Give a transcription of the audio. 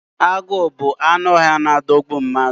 Agu bu anụ ọhịa n adogbu mmadu